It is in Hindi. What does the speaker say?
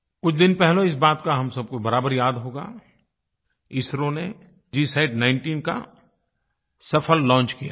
कुछ दिन पहले इस बात का हम सब को बराबर याद होगा इसरो ने GSAT19 का सफ़ल लॉन्च किया था